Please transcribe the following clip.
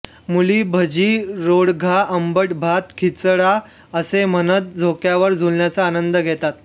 मुली भजी रोडगा आंबट भात खिचडा असे म्हणत झोक्यावर झुलण्याचा आनंद घेतात